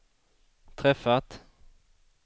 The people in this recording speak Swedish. träffat